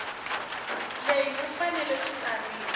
leyi ku fanele ku tsariwa